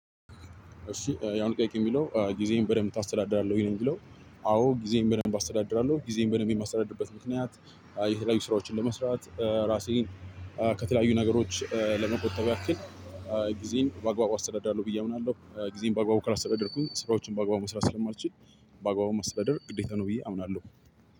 እሺ የአሁኑ ጥያቄ የሚለው ጊዜህን በደንብ ታስተዳድራለህ ወይ ነው የሚለው? አዎ ጊዜየን በደንብ አስተዳድራለሁ ጊዜን በደንብ የማስተዳድርበት ምክንያት የተለያዩ ስራዎችን ለመስራት ራሴን ከተለያዩ ነገሮች ለመቆጠብ ያክል ጊዜየን በአግባቡ አስተዳዳለሁ ብዬ አምናለሁ። ጊዜን በአግባቡ ካላስተዳደርኩኝ ስራዎችን በአግባቡ መስራት ስለማልችል በአግባቡ ማስተዳደር ግዴታ ነው ብዬ አምናለሁ።